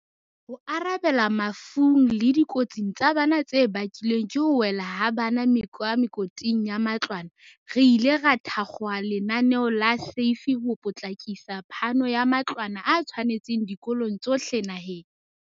Ho arabela mafung le dikotsing tsa bana tse bakilweng ke ho wela ha bana ka mekoting ya matlwana, re ile ra thakgola lenaneo la SAFE ho potlakisa phano ya matlwana a tshwanetseng dikolong tsohle naheng.